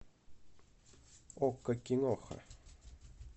окко киноха